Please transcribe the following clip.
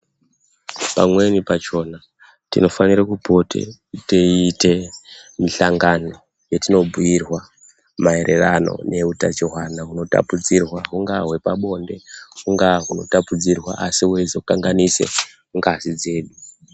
Pamweni pakona tinofana kupote teiite mihlangano yetinobhiirwa mayererano nehutachuwana hunotapudzirwana. Hungaa hwepabonde hunga hunha unotapudzirwa asi hweizokanganisa ngazi dzedu.